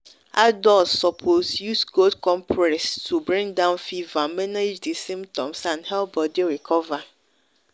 adults suppose use cold compress to bring down fever manage di symptoms and help body recover